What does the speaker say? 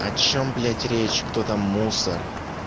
о чем блять речь кто там мусор